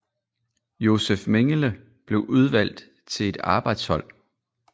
Josef Mengele blev udvalgt til et arbejdshold